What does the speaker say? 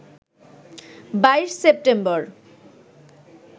২২ September